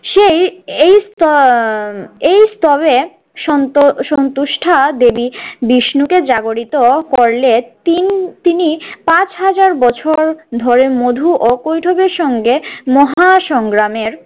সেই এই স্ত~ এই স্তবে সন্ত~ সন্তুষ্ঠা দেবী বিষ্ণুকে জাগরিত করলে তিন তিনি পাঁচ হাজার বছর ধরে মধু ও কৈঠবের সঙ্গে মহা সংগ্রামের